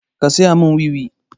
Ka saya mun wiwi!